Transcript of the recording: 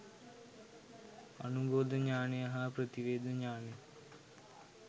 අනුබෝධ ඤාණය හා ප්‍රතිවේධ ඤාණය